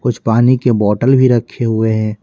कुछ पानी के बोतल भी रखे हुए हैं।